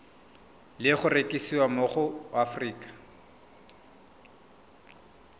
le go rekisiwa mo aforika